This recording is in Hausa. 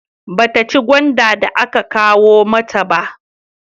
Ba ta ci gwanda da aka kawo mata ba